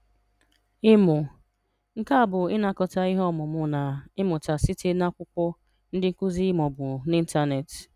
Ị́mụ̀: Nké a bụ̀ ịnakọ̀tà ìhè ọ̀múmà na ịmụ́tà sị̀tè n’aká ákwụ̀kwọ̀, ndị́ nkụ́zi, ma ọ̀ bụ̀ n’ìntànetì.